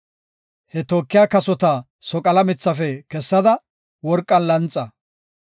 He tookiya kasota soqala mithafe kessada, worqan lanxa.